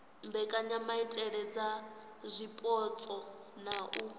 mbekanyamaitele dza zwipotso na u